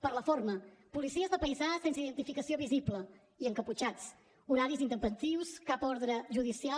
per la forma policies de paisà sense identificació visible i encaputxats horaris intempestius cap ordre judicial